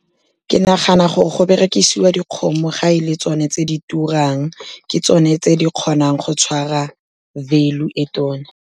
Ke nagana gore go berekisiwa dikgomo ga e le tsone tse di turang, ke tsone tse di kgonang go tshwara value e tona.